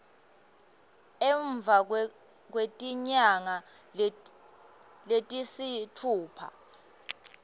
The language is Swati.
emva kwetinyanga letisitfupha